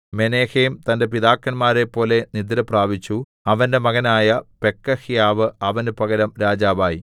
Menahem തന്റെ പിതാക്കന്മാരെപ്പോലെ നിദ്രപ്രാപിച്ചു അവന്റെ മകനായ പെക്കഹ്യാവ് അവന് പകരം രാജാവായി